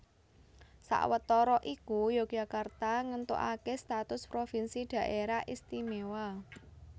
Sawetara iku Yogyakarta ngéntukaké status provinsi Dhaerah Istimewa